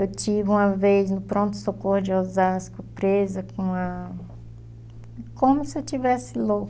Eu tive uma vez, no pronto-socorro de Osasco, presa com a... Como se eu estivesse